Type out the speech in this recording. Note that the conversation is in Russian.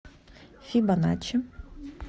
фибоначчи